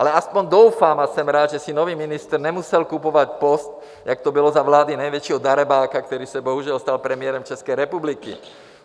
Ale alespoň doufám a jsem rád, že si nový ministr nemusel kupovat post, jako to bylo za vlády největšího darebáka, který se bohužel stal premiérem České republiky.